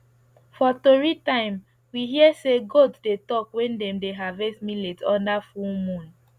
for tori time we hear say goat dey talk when dem dey harvest millet under full moon